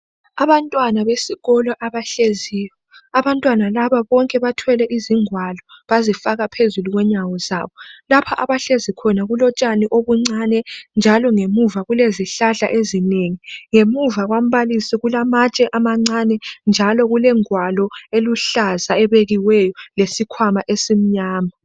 Abantwana besikolo abahleziyo abantwana laba bonke bathwele izingalo bazifaka phezulu kwenyawo zabo. Lapha abahlezi khona kulotshani obuncanye njalo ngemuva kulezihlahla ezinengi, ngemuva kombalisi kulamatshe amacane njalo kulengwalo eluhlaza ebekiweyo lesikwama esimnyama.